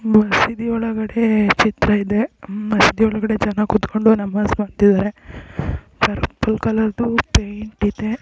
ಮಸೀದಿ ಒಳಗಡೆ ಚಿತ್ರ ಇದೆ ಹ್ಮ್ಮ್ ಮಸೀದಿ ಒಳಗಡೆ ಜನ ಕುತ್ಕೊಂಡು ನಮಾಜ್ ಮಾಡ್ತಾ ಇದ್ದಾರೆ ಬ್ಲೂ ಕಲರ್ ದು ಪೈಂಟ್ ಇದೆ.